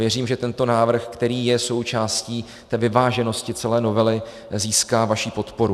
Věřím, že tento návrh, který je součástí té vyváženosti celé novely, získá vaši podporu.